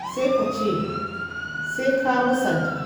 sai ka musanta.